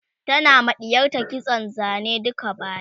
tana ma ɗiyarta kitson Zane duka baya